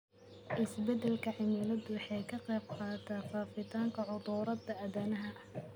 Isbeddelka cimiladu waxay ka qayb qaadataa faafitaanka cudurrada aadanaha.